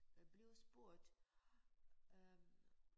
Bliver spurgt øh